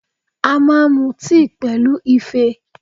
A máa mu tíì pẹ̀lú Ife